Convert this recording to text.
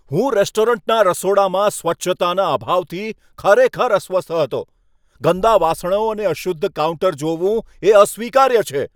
હું રેસ્ટોરન્ટના રસોડામાં સ્વચ્છતાના અભાવથી ખરેખર અસ્વસ્થ હતો. ગંદા વાસણો અને અશુદ્ધ કાઉન્ટર જોવું એ અસ્વીકાર્ય છે.